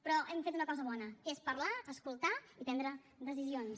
però hem fet una cosa bona que és parlar escoltar i prendre decisions